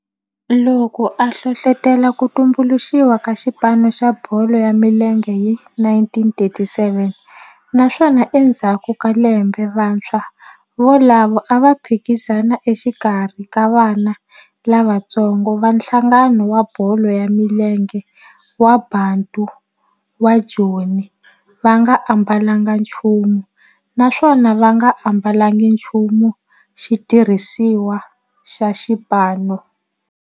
loko a hlohlotela ku tumbuluxiwa ka xipano xa bolo ya milenge hi 1937 naswona endzhaku ka lembe vantshwa volavo a va phikizana exikarhi ka vana lavatsongo va nhlangano wa bolo ya milenge wa Bantu wa Joni va nga ambalanga nchumu naswona va nga ambalanga nchumu xitirhisiwa xa xipano.